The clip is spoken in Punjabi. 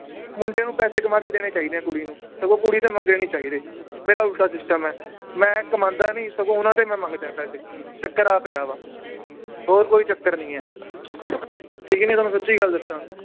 ਮੁੰਡੇ ਨੂੰ ਪੈਸੇ ਕਮਾ ਕੇ ਦੇਣੇ ਚਾਹੀਦੇ ਏ ਕੁੜੀ ਨੂੰ ਸਗੋਂ ਕੁੜੀ ਤੋਂ ਮੰਗਣੇ ਨੀ ਚਾਹੀਦੇ ਮੇਰਾ ਉਲਟਾ system ਏ ਮੈ ਕਮਾਂਦਾ ਨੀ ਸਗੋਂ ਉਹਨਾਂ ਤੋਂ ਹੀ ਮੈ ਮੰਗਦਾ ਹਾਂ ਪੈਸੇ, ਚੱਕਰ ਆ ਪਿਆ ਵਾ, ਹੋਰ ਕੋਈ ਚੱਕਰ ਨੀ ਏ ਠੀਕ ਨੀ ਤੁਹਾਨੂੰ ਸਚੀ ਗੱਲ ਦੱਸਾਂ